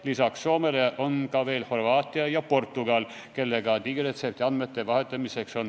Lisaks Soomele on ka Horvaatia ja Portugal valmis digiretseptiandmeid vahetama.